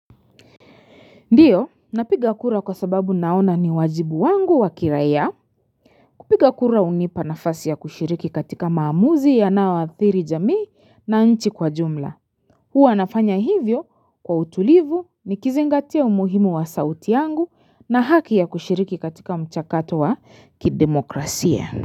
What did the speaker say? Ndiyo, napiga kura kwa sababu naona ni wajibu wangu wa kiraia kupiga kura hunipa nafasi ya kushiriki katika maamuzi yanayoathiri jamii na nchi kwa jumla. Huwa nafanya hivyo kwa utulivu nikizingatia umuhimu wa sauti yangu na haki ya kushiriki katika mchakato wa kidemokrasia.